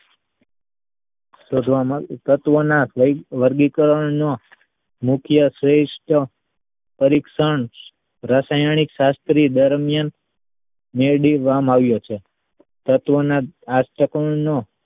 તત્વના વર્ગીકરણનો મુખ્ય શ્રેષ્ઠ પરીક્ષણ રાસાયણિક શાસ્ત્રી દરમિયાન મેળવવામાં આવ્યો છે. તત્વના અષ્ટકોણનો